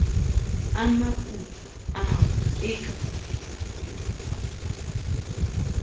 a maputswa ao e ka